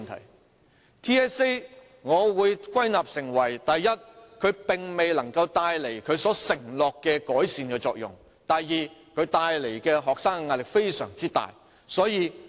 我對 TSA 的總結是：第一，它未能帶來它承諾的改善作用；第二，它給學生帶來非常大的壓力。